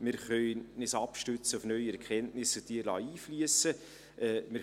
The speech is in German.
Wir können uns auf neue Erkenntnisse abstützen und diese einfliessen lassen.